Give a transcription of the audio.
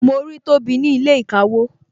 Mo rí tobi ní ilé ìkawó